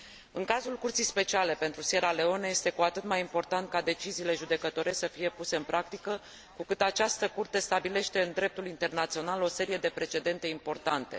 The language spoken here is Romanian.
În cazul Curții speciale pentru Sierra Leone, este cu atât mai important ca deciziile judecătorești să fie puse în practică, cu cât această curte stabilește în dreptul internațional o serie de precedente importante.